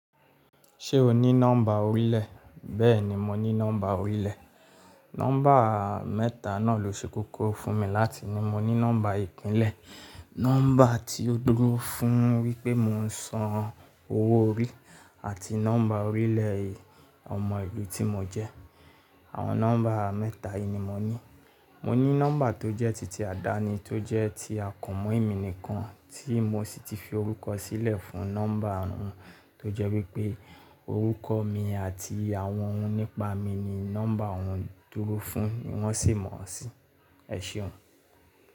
Ṣé o ní nọ́mbà orílẹ̀? Bẹ́ẹ̀ni, mo ní nọ́mbà orílẹ̀. Nọ́mbà mẹ́ta náà ló ṣe kókó fún mi láti ní, mo ní nọ́mbà ìpínlẹ̀, nọ́mbà tí ó dúró fún wípé mo ń san owó orí àti nọ́mbà orílẹ̀ ẹ̀ ọmọ ìlú tí mo jẹ́. Àwọn nọ́mbà mẹ́ta yìí ni mo ní. Mo ní nọ́mbà tó jẹ́ títí àdáni tó jẹ́ ti àkànmọ̀ emi nìkan tí mo sì ti fi orúkọ sílẹ̀ fún nọ́mbà ọ̀hún tó jẹ́ wípé orúkọ mi àti àwọn ohun nípa mi ni nọ́mbà ọ̀hún dúró fún wọ́n sì mọ̀ ọ́ sí. Ẹ ṣeun.